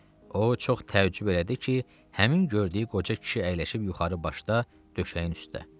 O çox təəccüb elədi ki, həmin gördüyü qoca kişi əyrişib yuxarı başda döşəyin üstə.